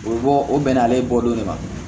O bɔ o bɛnn'ale bɔ de ma